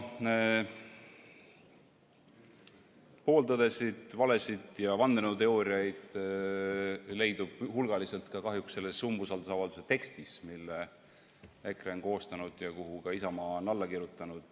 Pooltõdesid, valesid ja vandenõuteooriaid leidub hulgaliselt kahjuks ka selles umbusaldusavalduse tekstis, mille EKRE on koostanud ja millele ka Isamaa on alla kirjutanud.